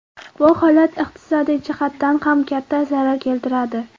Bu holat iqtisodiy jihatdan ham katta zarar keltiradi.